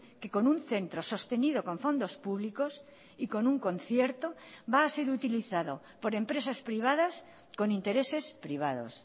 que con un centro sostenido con fondos públicos y con un concierto va a ser utilizado por empresas privadas con intereses privados